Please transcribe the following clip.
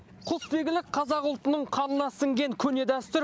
құсбегілік қазақ ұлтының қанына сіңген көне дәстүр